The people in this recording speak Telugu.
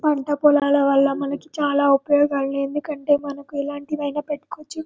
పంట పొలాల వాళ్ళ మనకు చాల ఉపయోగాలు ఉంటాయి ఎందుకంటే మనకు ఎలాంటిది అయినా పెట్టుకోవచ్చు.